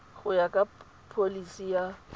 go ya ka pholisi ya